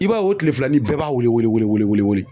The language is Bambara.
I b'a ye o tilefilanin bɛɛ b'a wele wele wele